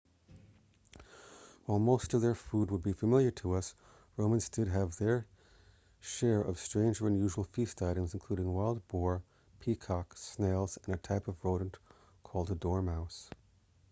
while most of their food would be familiar to us romans did have their share of strange or unusual feast items including wild boar peacock snails and a type of rodent called a dormouse